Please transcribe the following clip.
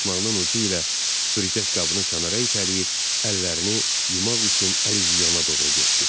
Başmağının ucu ilə tüpürcək qabını kənara itələyib, əllərini yumaq üçün əlüzyana doğru getdi.